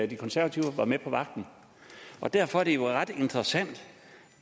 de konservative var med på vagten derfor er det jo ret interessant